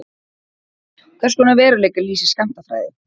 Hvers konar veruleika lýsir skammtafræði?